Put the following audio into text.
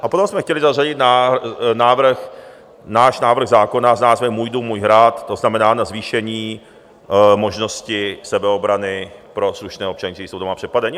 A potom jsme chtěli zařadit návrh, náš návrh zákona, s názvem Můj dům, můj hrad, to znamená, na zvýšení možnosti sebeobrany pro slušné občany, kteří jsou doma přepadeni.